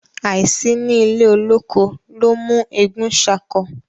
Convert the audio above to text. áí sí ní ilè olókó ló ń mú egún ṣako